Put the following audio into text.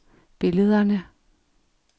billederne